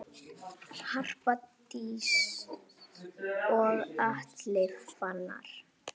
Harpa Dís og Atli Fannar.